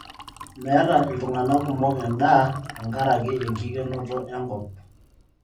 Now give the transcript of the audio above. Meeta ltung'ana kumok endaa tenkaraki enkikenoto enkop